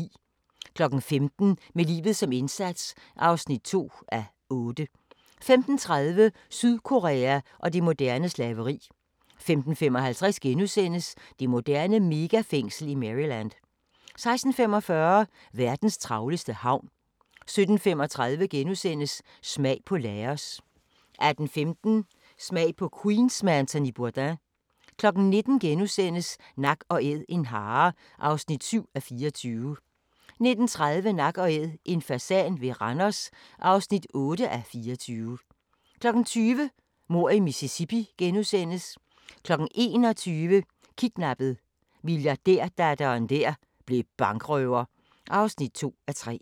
15:00: Med livet som indsats (2:8) 15:30: Sydkorea og det moderne slaveri 15:55: Det moderne megafængsel i Maryland * 16:45: Verdens travleste havn 17:35: Smag på Laos * 18:15: Smag på Queens med Anthony Bourdain 19:00: Nak & Æd – en hare (7:24)* 19:30: Nak & Æd – en fasan ved Randers (8:24) 20:00: Mord i Mississippi * 21:00: Kidnappet: Milliardærdatteren der blev bankrøver (2:3)